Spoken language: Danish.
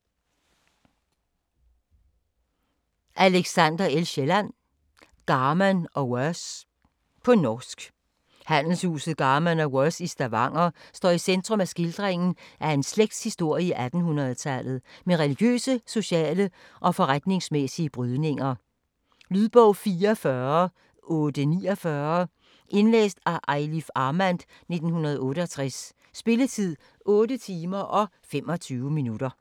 Kielland, Alexander L.: Garman & Worse På norsk. Handelshuset Garman og Worse i Stavanger står i centrum af skildringen af en slægts historie i 1800-tallet, med religiøse, sociale og forretningsmæssige brydninger. Lydbog 44849 Indlæst af Eilif Armand, 1968. Spilletid: 8 timer, 25 minutter.